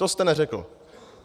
To jste neřekl.